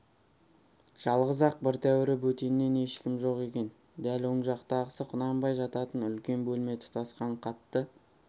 жалғыз-ақ бір тәуірі бөтеннен ешкім жоқ екен дәл оң жақтағысы құнанбай жататын үлкен бөлме тұтасқан қатты